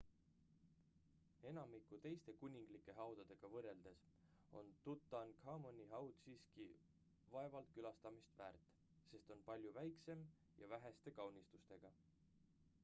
enamiku teiste kuninglike haudadega võrreldes on tutankhamuni haud siiski vaevalt külastamist väärt sest on palju väiksem ja väheste kaunistustega